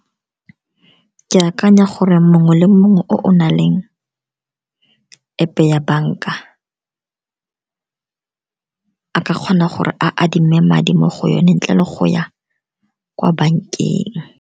Ke akanya gore mongwe le mongwe o na leng App ya banka, a ka kgona gore a adime madi mo go yone ntle le go ya kwa bankeng.